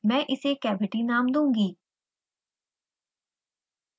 मैं इसे cavity now दूंगी